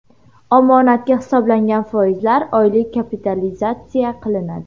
Omonatga hisoblangan foizlar oylik kapitalizatsiya qilinadi.